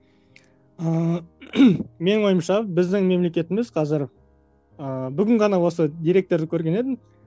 ыыы менің ойымша біздің мемлекетіміз қазір ыыы бүгін ғана осы деректерді көрген едім